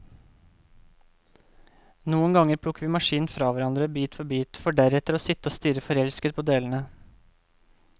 Noen ganger plukker vi maskinen fra hverandre, bit for bit, for deretter å sitte og stirre forelsket på delene.